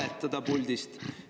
Teiseks, ei ole vaja puldist valetada.